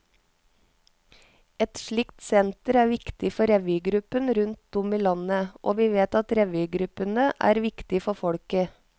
Et slikt senter er viktig for revygruppene rundt om i landet, og vi vet at revygruppene er viktige for folket.